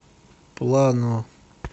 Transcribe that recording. плано